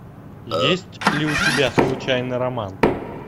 есть ли у тебя случайный роман